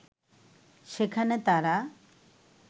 সেখানে তারা